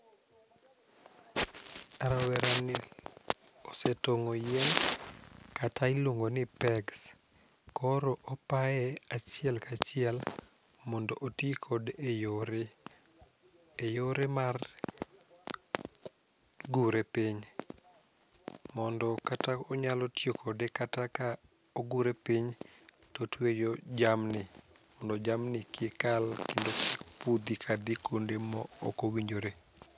Rawerani osetong'o yien kata iluongoni pegs, koro opaye achiel kachiel mondo otii kode e yore, e yore mar gure piny, mondo kata onyalo tiyo kode kata ka ogure piny to otweyo jamni, mondo jamni kik kal kendo kik pudhi ka dhii kwonde ma okowinjore.